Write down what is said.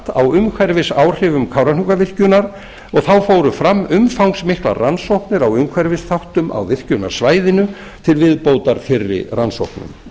á áhrifum kárahnjúkavirkjunar og þá fóru fram umfangsmiklar rannsóknir á umhverfisþáttum á virkjunarsvæðinu til viðbótar fyrri rannsóknum